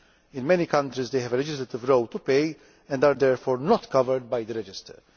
In many countries they have a legislative role to play and are therefore not covered by the register.